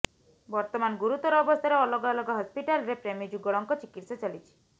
ବର୍ତ୍ତମାନ ଗୁରୁତର ଅବସ୍ଥାରେ ଅଲଗା ଅଲଗା ହସ୍ପିଟାଲରେ ପ୍ରେମୀଯୁଗଳଙ୍କ ଚିକିତ୍ସା ଚାଲିଛି